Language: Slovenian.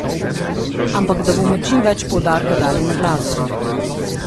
Ampak da bomo čim več poudarka dali na glasbo.